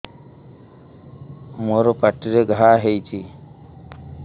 ମୋର ପାଟିରେ ଘା ହେଇଚି